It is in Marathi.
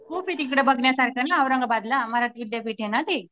खूप आहे तिकडे बघण्यासारखं औरंगाबादला मराठी विद्यापीठ आहे ना ती.